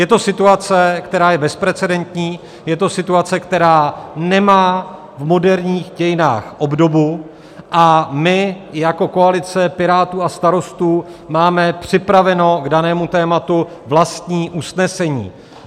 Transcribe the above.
Je to situace, která je bezprecedentní, je to situace, která nemá v moderních dějinách obdobu, a my jako koalice Pirátů a Starostů máme připraveno k danému tématu vlastní usnesení.